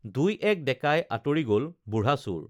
দুই এক ডেকাই আঁতৰি গল বুঢ়া চোৰ